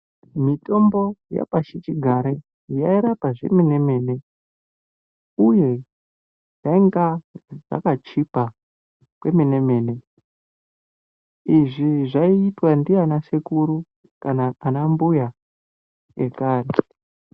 Mitombo yepashi chigare yairapa zvemene mene uye zvaunga zvakachipa kwemene mene izvi zvaitwa ndivana sekuru kana ana mbuya ekare.